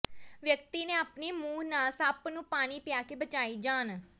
ਵਿਅਕਤੀ ਨੇ ਆਪਣੇ ਮੂੰਹ ਨਾਲ ਸੱਪ ਨੂੰ ਪਾਣੀ ਪਿਆ ਕੇ ਬਚਾਈ ਜਾਨ